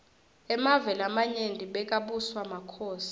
emave lamanyenti bekabuswa makhosi